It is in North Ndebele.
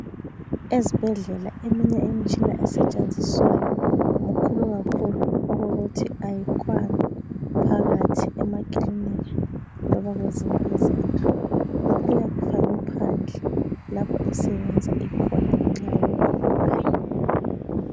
Ezibhedlela eminye imitshina esetshenziswayo mikhulu kakhulu okokuthi ayikwani phakathi emakiliniki loba kwezinye izindlu, ngakho iyabe ifakwe phandle lapha esebenza ikhona ngenxa yobukhulu bayo.